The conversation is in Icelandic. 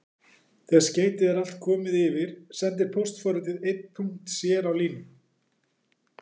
Þegar skeytið er allt komið yfir sendir póstforritið einn punkt sér á línu.